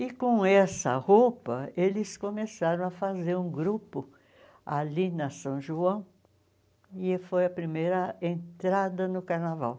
E com essa roupa, eles começaram a fazer um grupo ali na São João, e foi a primeira entrada no carnaval.